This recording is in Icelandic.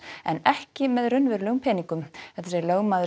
en ekki með raunverulegum peningum þetta segir lögmaður